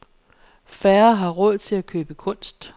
Færre har råd til at købe kunst.